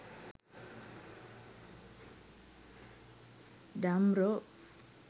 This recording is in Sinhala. damro